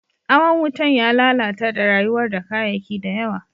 Awan wutan ya lallatar da rayuwa da kayaki da yawa.